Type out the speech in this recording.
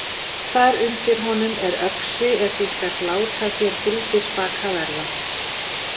Þar undir honum er öxi er þú skalt láta þér fylgispaka verða.